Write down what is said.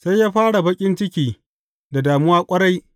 Sai ya fara baƙin ciki da damuwa ƙwarai.